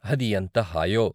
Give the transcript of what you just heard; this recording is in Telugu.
అది ఎంత హాయో.